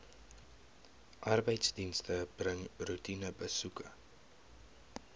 arbeidsdienste bring roetinebesoeke